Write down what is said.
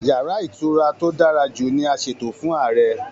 Yàrá ìtura tó dára jù ní a ṣètò fún Ààrẹ.